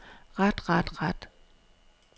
ret ret ret